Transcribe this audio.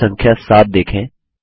slide संख्या 7 देखें